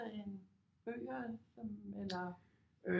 End bøger som eller